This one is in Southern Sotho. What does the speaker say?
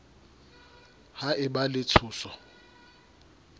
ha e ba le tshoso